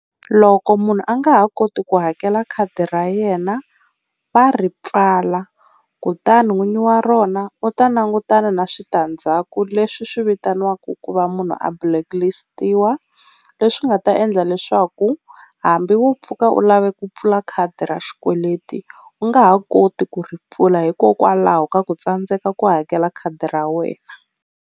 Loko munhu a nga ha koti ku hakela khadi ra yena va ri pfala kutani n'winyi wa rona u ta langutana na switandzhaku leswi swi vitaniwaku ku va munhu a blacklist-iwa leswi nga ta endla leswaku hambi wo pfuka u lave ku pfula khadi ra xikweleti u nga ha koti ku ri pfula, hikokwalaho ka ku tsandzeka ku hakela khadi ra wena.